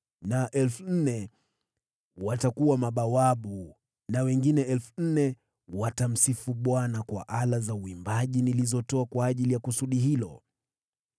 na 4,000 watakuwa mabawabu, na wengine 4,000 watamsifu Bwana kwa ala za uimbaji nilizotoa kwa ajili ya kusudi hilo.”